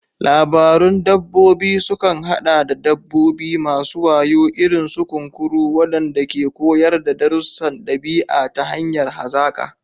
Labarun dabbobi sukan haɗa da dabbobi masu wayo, irin su kunkuru, waɗanda ke koyar da darussan ɗabi'a ta hanyar hazaƙa.